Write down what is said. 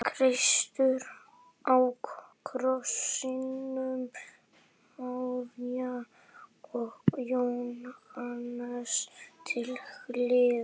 Kristur á krossinum, María og Jóhannes til hliðar.